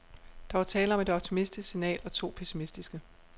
Der var tale om et optimistisk signal og to pessimistiske.